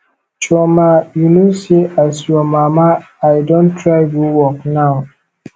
chioma you know say as your mama i don try go work now